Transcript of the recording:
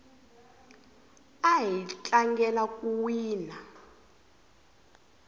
ahi tlangela ku wina